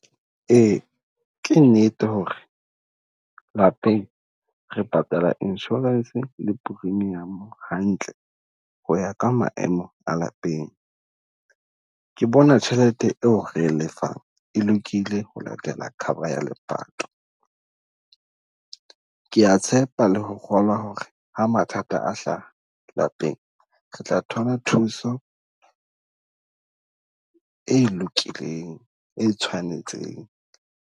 Ee, ke nnete ho re lapeng re patala insurance le premium hantle, ho ya ka maemo a lapeng. Ke bona tjhelete e o re lefang e lokile ho latela cover ya epato. Ke a tshepa le ho kgolwa ho re ha mathata a hlaha lapeng, re tla thola thuso e lokileng e tshwanetseng.